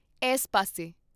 S ਪਾਸੇ।